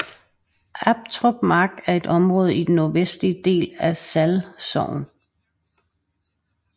Aptrup Mark er et område i den nordvestligste del af Sall Sogn